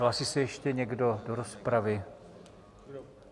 Hlásí se ještě někdo do rozpravy?